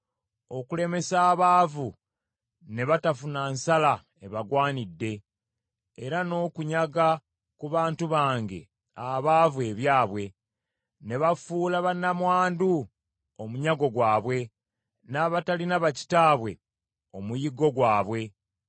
okulemesa abaavu ne batafuna nsala ebagwanidde; era n’okunyaga ku bantu bange abaavu ebyabwe, ne bafuula bannamwandu omunyago gwabwe, n’abatalina ba kitaabwe omuyiggo gwabwe!